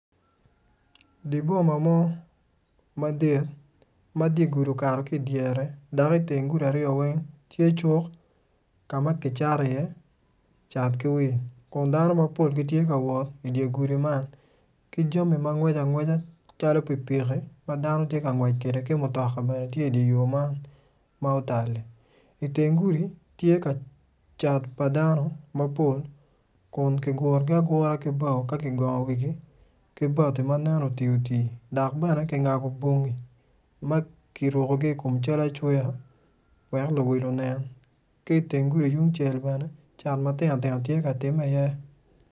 Di boma mo madit ma di gudi okato ki idyere dak iteng gudi aryo weny ti cuk ka ma ki cato iye cat ki wilo kun dano mapol tye ka wot idi gudi man ki jami ma ngweco angweca calo pikipiki ma dano ti ka ngwec kede ki mutoka bene tye idi yo man ma otal-li iteng gudi tye ka cat pa dano mapol kun ki gurugi agura ki bao ka ki go wigi ki bati ma nen otioti dak bene ki ngabo bonggi ma ki rukugi i kum cal acweya wek luwil onen ki iteng gudi yung ku cel bene cat matino tino tye ka timme iye.